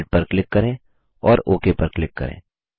red पर click करें और ओक पर क्लिक करें